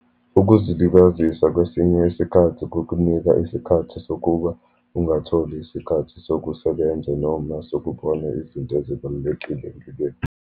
Ukuzilibazisa kwesinye isikhathi kukunika isikhathi sokuba ungatholi isikhathi sokusebenza, noma sokubona izinto ezibalulekile empilweni.